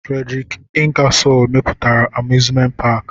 Frederik Ingasol mepụtara amuzment paki.